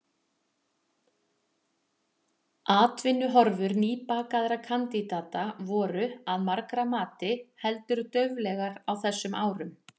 Atvinnuhorfur nýbakaðra kandidata voru, að margra mati, heldur dauflegar á þessum árum.